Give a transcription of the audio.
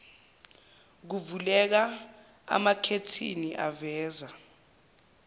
kuvuleka amakhethini aveza